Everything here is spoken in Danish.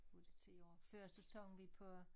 Nu det 10 år før så sang vi på